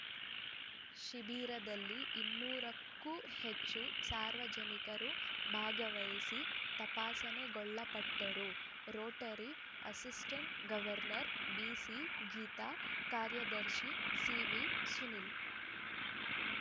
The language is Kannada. ಶಿಬಿರದಲ್ಲಿ ಇನ್ನೂರಕ್ಕೂ ಹೆಚ್ಚು ಸಾರ್ವಜನಿಕರು ಭಾಗವಹಿಸಿ ತಪಾಸಣೆಗೊಳಪಟ್ಟರು rotary assistant governor B C Geetha ಕಾರ್ಯದರ್ಶಿ ಸಿವಿ ಸುನೀಲ್‌